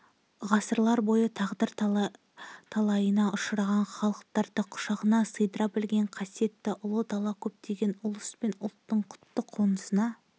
ғасырлар бойы тағдыр талайына ұшыраған халықтарды құшағына сыйдыра білген қасиетті ұлы дала көптеген ұлыс пен ұлттың құтты қонысына